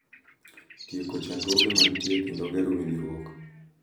Tieko chandruoge ma nitie, kendo ger winjruok,